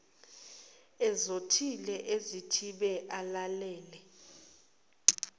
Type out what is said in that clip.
ezothile azithibe alalele